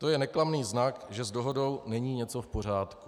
To je neklamný znak, že s dohodou není něco v pořádku.